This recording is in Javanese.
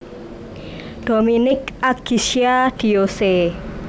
Dominique Agisca Diyose